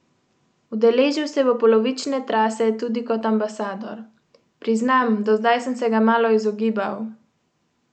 Udeležil se bo polovične trase tudi kot ambasador: "Priznam, do zdaj sem se ga malo izogibal.